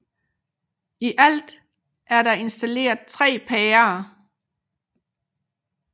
I alt er der installeret 3 pærer